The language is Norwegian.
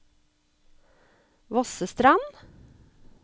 Vossestrand